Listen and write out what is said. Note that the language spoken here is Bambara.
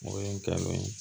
O ye n kɛ n'o ye